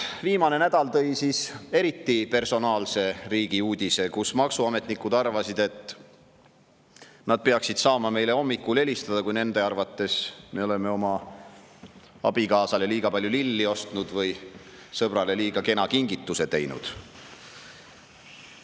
Viimane nädal tõi siis eriti personaalse riigi uudise: maksuametnikud arvasid, et nad peaksid saama meile hommikul helistada, kui nende arvates me oleme oma abikaasale liiga palju lilli ostnud või sõbrale liiga kena kingituse teinud.